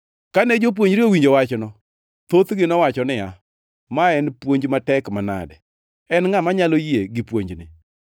Kane jopuonjre owinjo wachno, thothgi nowacho niya, “Ma en puonj matek manade. En ngʼa manyalo yie gi puonjni?”